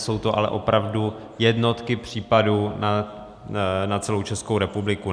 Jsou to ale opravdu jednotky případů na celou Českou republiku.